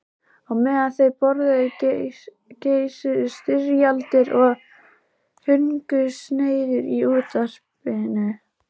Á meðan þau borðuðu geisuðu styrjaldir og hungursneyðir í útvarpinu.